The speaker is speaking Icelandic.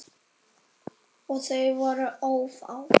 Og þau voru ófá.